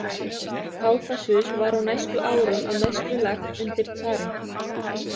Kákasus var á næstu árum að mestu lagt undir tsarinn.